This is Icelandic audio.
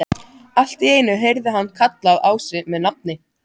Allt í einu heyrði hann kallað á sig með nafni.